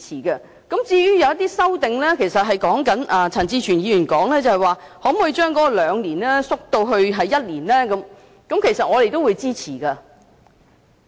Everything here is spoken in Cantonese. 陳志全議員的修正案提出，將"相關人士"最少同住的年期由兩年縮短為一年，我們都會支持。